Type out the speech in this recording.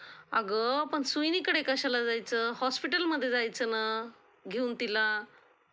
अगं पण सुईणीकडे कशाला जायचं? हॉस्पिटलमध्ये जायचं ना. घेऊन तिला.